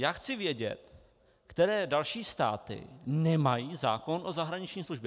Já chci vědět, které další státy nemají zákon o zahraniční službě.